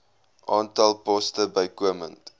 aantal poste bykomend